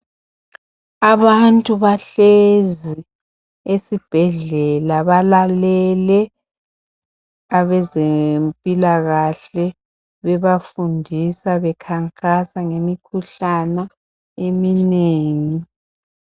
abantu bahlezi esibhedlela balalele abezempilakahle bebafundisa bekhankasa ngemikhuhlane eminengi